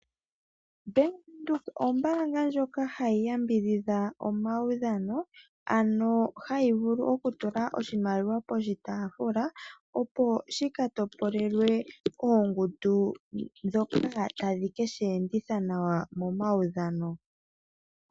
Ombanga yaVenduka oyo ombaanga ndjoka hayi yambidhidha omaudhano hayi tula oshimaliwa poshitaafula opo shika topolelwe oongundu dhoka tadhi keshi enditha nawa momaudhano.